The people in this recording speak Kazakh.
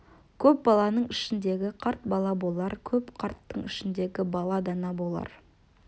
көп баланың ішіндегі қарт бала болар көп қарттың ішіндегі бала дана болар